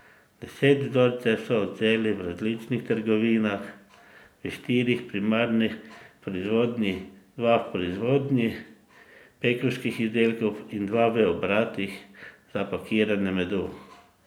Deset vzorcev so odvzeli v različnih trgovinah, štiri v primarni proizvodnji, dva v proizvodnji pekovskih izdelkov in dva v obratih za pakiranje medu.